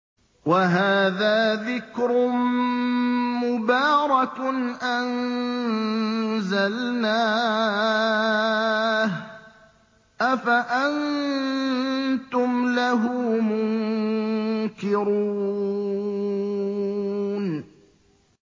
وَهَٰذَا ذِكْرٌ مُّبَارَكٌ أَنزَلْنَاهُ ۚ أَفَأَنتُمْ لَهُ مُنكِرُونَ